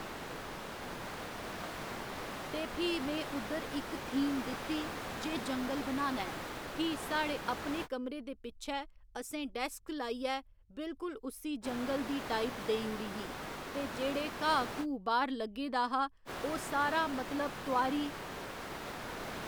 ते फ्ही में उद्धर इक थीम दित्ती जे जंगल बनाना ऐ फ्ही साढ़े अपने कमरे दे पिच्छै असें डैस्क्स लाइयै बिल्कुल उस्सी जंगल दी टाइप देई उड़ी ही ते जेह्ड़े घाऽ घूऽ बाह्‌र लग्गे दा हा ओह् सारा मतलब तोआरी